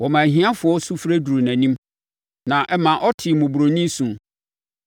Wɔmaa ahiafoɔ sufrɛ duruu nʼanim na ɛma ɔtee mmɔborɔni su.